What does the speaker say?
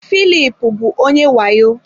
Filip bụ onye wayo